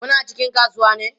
Kuna cikin kasuwa ne?